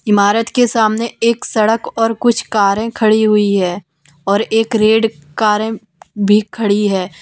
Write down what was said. इमारत के सामने एक सड़क और कुछ कारें खड़ी हुई है और एक रेड कारें भी खड़ी है।